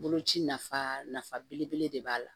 Boloci nafa nafa belebele de b'a la